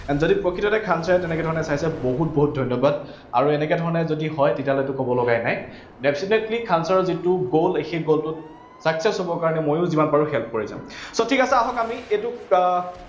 যদি প্ৰকৃততে খান sir এ তেনেকে ধৰনেৰে চাইছে, বহুত বহুত ধন্যবাদ। আৰু এনেকে ধৰণে যদি হয়, তেতিয়াহলেতো কব লগাই নাই। definitely খান sir যিটো goal সেই goal টোত success হবৰ কাৰনে মইও যিমান পাৰো help কৰি যাম। so ঠিক আছে, আহক আমি এইটোত আহ